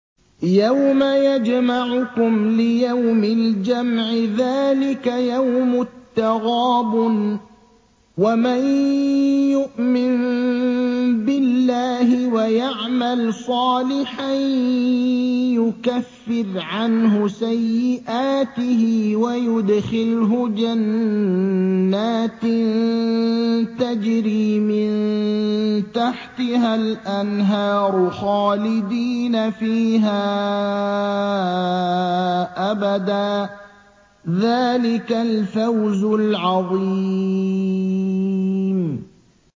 يَوْمَ يَجْمَعُكُمْ لِيَوْمِ الْجَمْعِ ۖ ذَٰلِكَ يَوْمُ التَّغَابُنِ ۗ وَمَن يُؤْمِن بِاللَّهِ وَيَعْمَلْ صَالِحًا يُكَفِّرْ عَنْهُ سَيِّئَاتِهِ وَيُدْخِلْهُ جَنَّاتٍ تَجْرِي مِن تَحْتِهَا الْأَنْهَارُ خَالِدِينَ فِيهَا أَبَدًا ۚ ذَٰلِكَ الْفَوْزُ الْعَظِيمُ